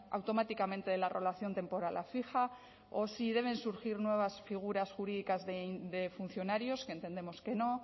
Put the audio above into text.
automáticamente de la relación temporal a fija o si deben surgir nuevas figuras jurídicas de funcionarios que entendemos que no